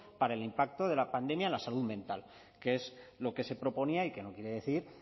para el impacto de la pandemia en la salud mental que es lo que se proponía y que no quiere decir